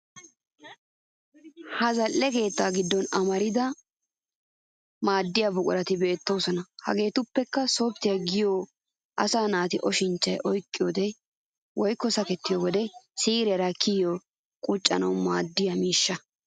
Ha zal'e keettaa giddon amarida maaddiya buqurati beettoosona. Hageetuppekka softiyaa giyogee asaa naata oshinchchay oyqqido wode woykko sakettiyo wode siiriyaara kiyiyode quccanawu maaddiya miishsha.